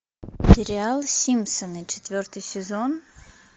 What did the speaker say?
сериал симпсоны четвертый сезон